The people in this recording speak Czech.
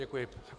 Děkuji.